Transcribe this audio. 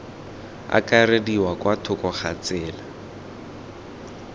akarediwa kwa thoko ga tsela